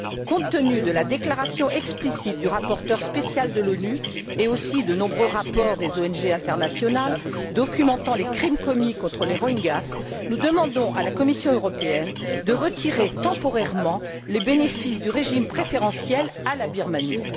Compte tenu de la déclaration explicite du rapporteur spécial de l'ONU et aussi de nombreux rapports des ONG internationales, documentant les crimes commis contre les Rohingyas, nous demandons à la Commission européenne de retirer temporairement le bénéfice du régime préférentiel à la Birmanie.